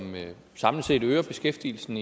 samlet set øger beskæftigelsen